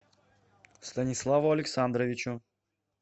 станиславу александровичу